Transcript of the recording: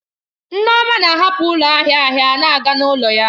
Nneoma na-ahapụ ụlọ ahịa ahịa na-aga n'ụlọ ya.